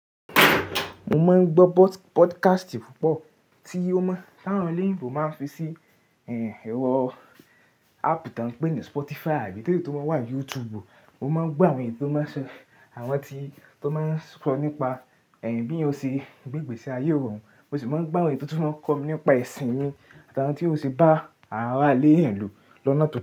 Mo máa ń gbọ́ podcast púpọ̀ tí ó mọ́ tàwọn eleyinbo máa ń fi sí ẹ̀rọ áàpù tí wọ́n ń pè ní Spotify àbí tele tó máa ń wà YouTube. Mo máa ń gbọ́ àwọn ti tó máa ń sọ nípa bi èèyàn ose gbé ìgbésí ayé irọrun, mo sì máa ń gbọ́ àwọn itò tun máa ń kọ́ mi nípa ẹ̀sìn mi àtàwọn tí èèyàn o se bá ara ile èèyàn lo lọna tó.